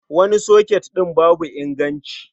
Wani soket ɗin babu inganci.